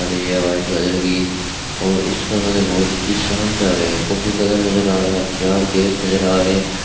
और ये white colour की और इसका कलर बहुत ही शानदार है कॉफी कलर नजर आ रहा है चार गेट नजर आ रहें --